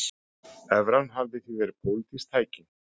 Evran hafi því verið pólitískt tæki